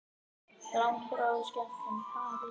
Síðan gat langþráð skemmtun hafist.